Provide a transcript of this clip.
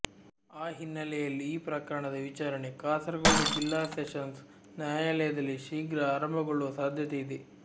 ಆ ಹಿನ್ನೆಲೆಯಲ್ಲಿ ಈ ಪ್ರಕರಣದ ವಿಚಾರಣೆ ಕಾಸರಗೋಡು ಜಿಲ್ಲಾ ಸೆಶನ್ಸ್ ನ್ಯಾಯಾಲಯದಲ್ಲಿ ಶೀಘ್ರ ಆರಂಭಗೊಳ್ಳುವ ಸಾಧ್ಯತೆ ಇದೆ